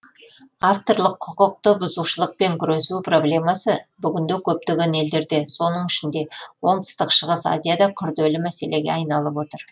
авторлық құқықты бұзушылықпен күресу проблемасы бүгінде көптеген елдерде оның ішінде оңтүстік шығыс азияда күрделі мәселеге айналып отыр